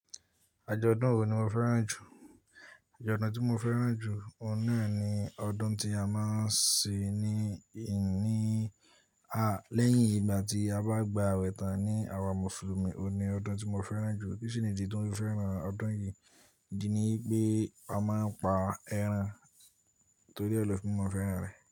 Ajo ọdún wo ni mo fẹ́ràn jù? Ọjọ́ ọdún tí mo fẹ́ràn jù, òun náà ni ọdún tí a máa ń ṣe ní ìní a lẹ́yìn ìgbà tí a bá gba ọ̀wẹ̀tán ní àwa Mùsùlùmí, òun ni ọdún tí mo fẹ́ràn jù. Kí si ni ìdí tí ó fi ń fẹ́ràn ọdún yìí? Ìdí ni pé a máa ń pa ẹran torí ẹ lẹ́ fìn, mo fẹ́ràn rẹ.